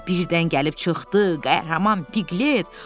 Birdən gəlib çıxdı qəhrəman Piqlet.